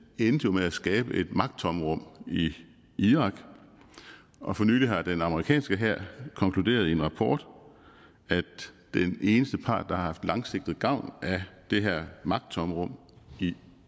endte jo med at skabe et magttomrum i irak og for nylig har den amerikanske hær konkluderet i en rapport at den eneste part der har haft langsigtet gavn af det her magttomrum i